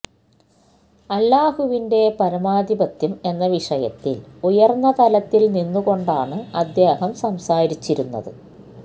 അല്ലാഹുവിന്റെ പരമാധിപത്യം എന്ന വിഷയത്തില് ഉയര്ന്ന തലത്തില് നിന്നുകൊണ്ടാണ് അദ്ദേഹം സംസാരിച്ചിരുന്നത്